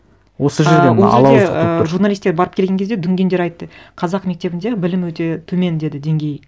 осы жерде і ол жерде і журналистер барып келген кезде дүнгендер айтты қазақ мектебінде білім өте төмен деді деңгейі